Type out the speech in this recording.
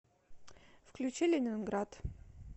включи ленинград